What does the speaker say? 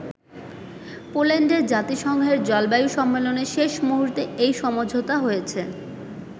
পোল্যান্ডে জাতিসংঘের জলবায়ু সম্মেলনে শেষ মুহূর্তে এই সমঝোতা হয়েছে।